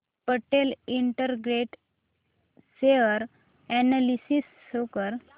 Patel integrate share analysis show कर